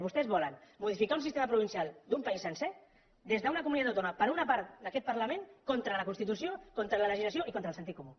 vostès volen modificar un sistema provincial d’un país sencer des d’una comunitat autònoma per una part d’aquest parlament contra la constitució contra la legislació i contra el sentit comú